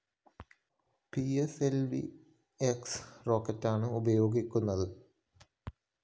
P S L V X റോക്കറ്റാണ് ഉപയോഗിക്കുന്നത്